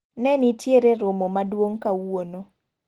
Ne nitiero romo maduong' kawuono.